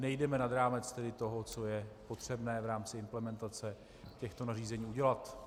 Nejdeme nad rámec toho, co je potřebné v rámci implementace těchto nařízení udělat.